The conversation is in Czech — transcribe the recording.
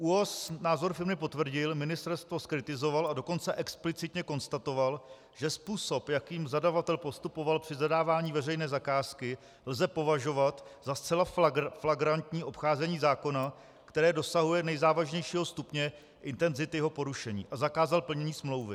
ÚOHS názor firmy potvrdil, ministerstvo zkritizoval, a dokonce explicitně konstatoval, že způsob, jakým zadavatel postupoval při zadávání veřejné zakázky, lze považovat za zcela flagrantní obcházení zákona, které dosahuje nejzávažnějšího stupně intenzity jeho porušení, a zakázal plnění smlouvy.